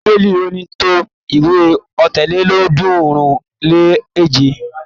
Bíbélì ò ní tó ìwé Ọ̀tàlélọ́ọ̀ọ́dúnrún-lé-èje.